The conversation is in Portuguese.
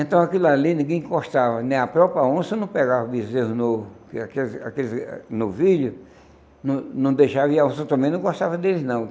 Então aquilo ali ninguém encostava, nem a própria onça não pegava o bezerro no vidro, não não deixava e a onça também não gostava deles não.